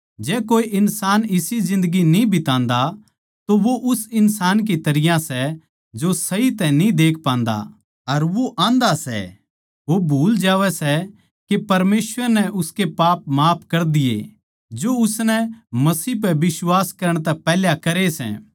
जै कोए इन्सान इसी जिन्दगी न्ही बितान्दा तो वो उस इन्सान की तरियां सै जो सही तै न्ही देख पान्दा अर वो आन्धा से वो भूल जावै सै के परमेसवर नै उसके पाप माफ कर दिये जो उसनै मसीह पै बिश्वास करण तै पैहले करे सै